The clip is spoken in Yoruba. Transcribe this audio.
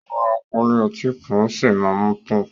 O ma rà pálí ọtí kan o sí má mú tán.